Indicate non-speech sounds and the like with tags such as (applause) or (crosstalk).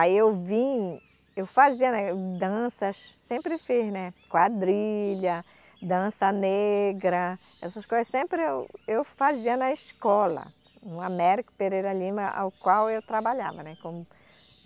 Aí eu vim, eu fazia né danças, sempre fiz né, quadrilha, dança negra, essas coisas, sempre eu eu fazia na escola, no Américo Pereira Lima, ao qual eu trabalhava. né como (unintelligible)